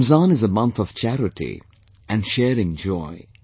Ramzan is a month of charity, and sharing joy